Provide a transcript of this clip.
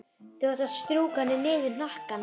Þá áttu að strjúka henni niður hnakkann.